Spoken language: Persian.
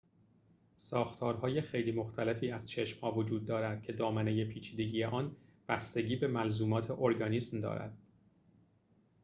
ساختارهای خیلی مختلفی از چشم‌ها وجود دارد که دامنه پیچیدگی آن بستگی به ملزومات ارگانیسم دارد